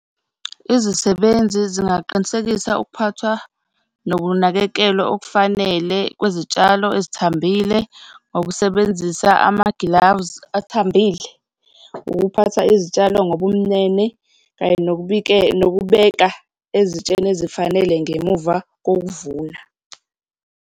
Izisebenzi zingaqinisekisa ukuphathwa nokunakekelwa okufanele kwezitshalo ezithambile ngokusebenzisa ama-gloves athambile, ukuphatha izitshalo ngobumnene kanye nokubeka ezitsheni ezifanele ngemuva kokuvuna.